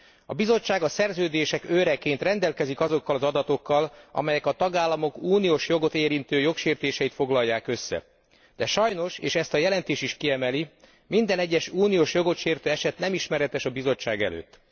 A Bizottság a szerződések őreként rendelkezik azokkal az adatokkal, amelyek a tagállamok uniós jogot érintő jogsértéseit foglalják össze, de sajnos és ezt a jelentés is kiemeli minden egyes uniós jogot sértő eset nem ismeretes a Bizottság előtt.